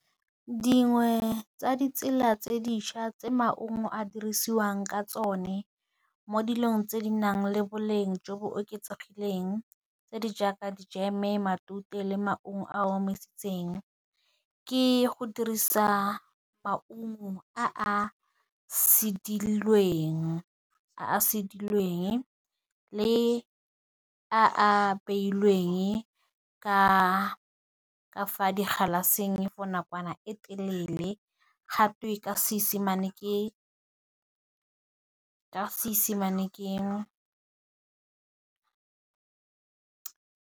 Dingwe tsa ditsela tse dišwa tse maungo a dirisiwang ka tsone mo dilong tse di nang le boleng jo bo oketsegileng, tse di jaaka dijeme, matute, le maungo a a omisitsweng ke go dirisa maungo a sedilweng le a apeilweng ka fa di galaseng for nakwana e telele gatwe ka seesemane .